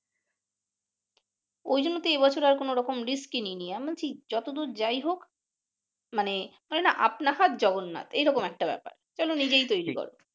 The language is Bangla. ঐজন্য তো এইবছর আর কোন রকম রিস্কই নেই নি যতদূর যাই হোক মানে বলে নাহ আপনা হাত জগন্নাথ এই রকম একটা ব্যাপার চলো নিজেই তৈরি করো ।